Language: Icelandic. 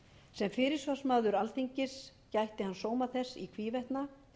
sem fyrirsvarsmaður alþingis gætti hann sóma þess í hvívetna